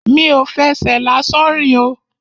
Mi ò fẹsẹ̀ lásán rìn o.